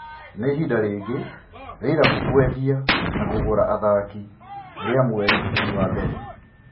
Nĩ ihinda rĩngĩ rĩa irabu kũendia na kũgũra athaki rĩa mweri wa mbere.